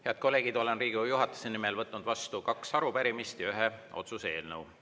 Head kolleegid, olen Riigikogu juhatuse nimel võtnud vastu kaks arupärimist ja ühe otsuse eelnõu.